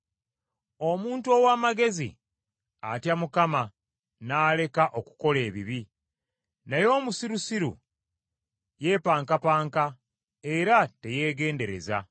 Omuntu ow’amagezi atya Mukama n’aleka okukola ebibi, naye omusirusiru yeepankapanka era teyeegendereza.